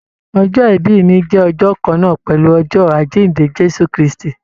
Ọjọ́-ibi mi jẹ ọjọ́ kànnà pẹlú ọjọ́ Àjínde Jésù kristi.